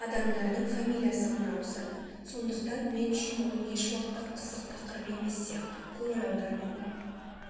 адамдардың фамилиясы ғана ауысады сондықтан мен үшін ол ешуақытта қызық тақырып емес сияқты көңіл аудармаймын